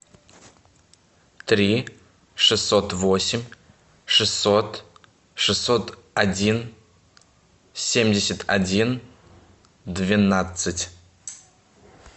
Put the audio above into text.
три шестьсот восемь шестьсот шестьсот один семьдесят один двенадцать